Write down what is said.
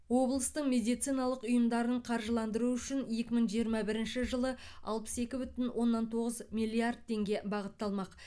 облыстың медициналық ұйымдарын қаржыландыру үшін екі мың жиырма бірінші жылы алпыс екі бүтін оннан тоғыз миллиард теңге бағытталмақ